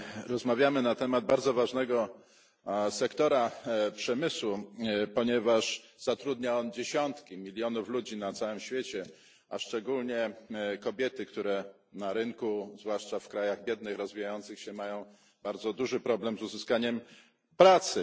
Rozmawiamy na temat bardzo ważnego sektora przemysłu, ponieważ zatrudnia on dziesiątki milionów ludzi na całym świecie, a szczególnie kobiety, które na rynku, zwłaszcza w krajach biednych, rozwijających się mają bardzo duży problem z uzyskaniem pracy.